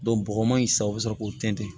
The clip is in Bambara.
bɔgɔ man ɲi sa o bɛ sɔrɔ k'o tɛntɛn